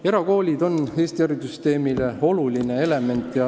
Erakoolid on Eesti haridussüsteemi oluline element.